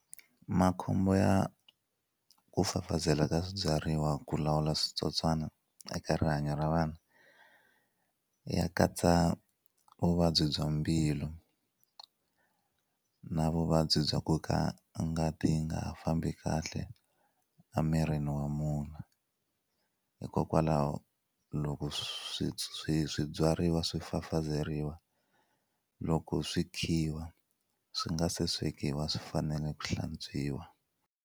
Makhombo ya ku fafazela ka swibyariwa ku lawula switsotswana eka rihanyo ra vanhu ya katsa vuvabyi bya mbilu na vuvabyi bya ku ka ngati yi nga ha fambi kahle a mirini wa munhu hikokwalaho loko swi swibyariwa swi fafazeriwa loko swi khiwa swi nga se swekiwa swi fanele ku hlantswiwa.